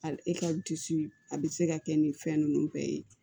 Hali e ka disi a bi se ka kɛ nin fɛn nunnu bɛɛ ye